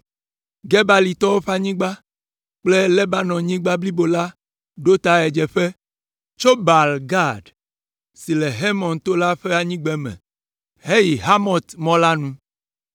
Gebalitɔwo ƒe anyigba kple Lebanonyigba blibo la ɖo ta ɣedzeƒe, tso Baal Gad, si le Hermon to la ƒe anyigbeme heyi Hamat mɔ la nu.